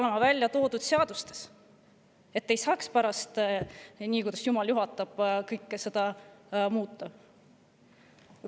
peavad olema seadustes välja toodud, et pärast ei saaks nagu jumal juhatab seda kõike muuta.